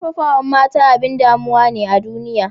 Karfafawa mata abin damuwa ne a duniya